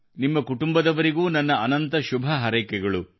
ನಿಮ್ಮ ಕುಟುಂಬದವರಿಗೂ ನನ್ನ ಅನಂತ ಶುಭಹಾರೈಕೆಗಳು